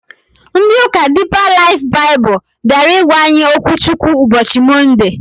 Ndị ụka Diipa Laif Baịbụl bịara ịgwa anyị okwu Chukwu ụbọchị Mọnde